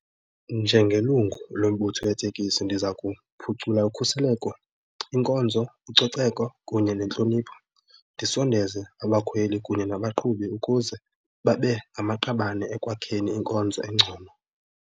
Njengelungu lombutho wetekisi ndiza kuphucula ukhuseleko, inkonzo, ucoceko kunye nentlonipho, ndisondeze abakhweli kunye nabaqhubi ukuze babe ngamaqabane ekwakheni inkonzo engcono.